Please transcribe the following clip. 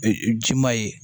ji ma ye